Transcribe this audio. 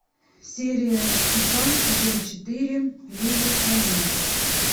серия два сезон четыре лиллехаммер